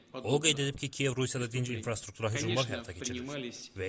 O qeyd edib ki, Kiyev Rusiyada dinc infrastruktura hücumlar həyata keçirir.